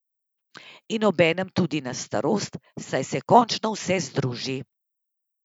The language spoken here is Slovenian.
In obenem tudi na starost, saj se končno vse združi.